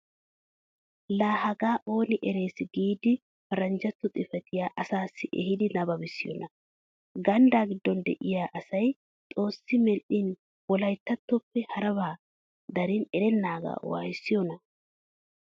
Laa hagaa ooni eres giidi paranjjatto xifatiyaa asaassi ehiidi nababissiyoonaa! ganddaa giddon de'iyaa asay xoossi maadin wolayttatoppe harabaa darin erennaagaa wayissiyoonaa!